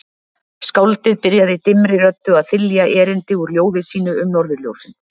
Skáldið byrjaði dimmri röddu að þylja erindi úr ljóði sínu um Norðurljósin